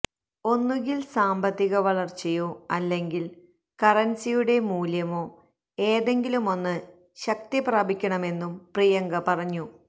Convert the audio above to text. ഒന്നുകില് സാമ്പത്തിക വളര്ച്ചയോ അല്ലെങ്കില് കറന്സിയുടെ മൂല്യമോ ഏതെങ്കിലുമൊന്ന് ശക്തിപ്രാപിക്കണമെന്നും പ്രിയങ്ക പറഞ്ഞു